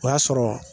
O y'a sɔrɔ